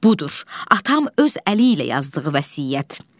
Budur, atam öz əli ilə yazdığı vəsiyyət.